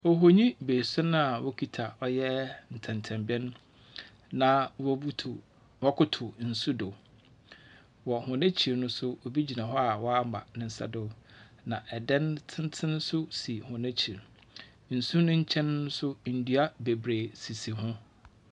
Ohonyi bese no no a okita ntsentsenben. Na wɔbutu ɔkotow nso do. Wɔ hɔn akyir no nso. O bi gyina hɔ a ɔama ne nsa do. Na dan tsentsen so si hɔɔn akyir. Nsu no kyɛn so ndua sisi hɔ.